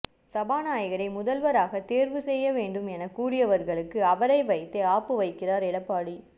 சபாநாயகரை முதல்வராக தேர்வு செய்ய வேண்டும் என கூறிவர்களுக்கு அவரை வைத்தே ஆப்பு வைக்கிறார் எடப்பாடி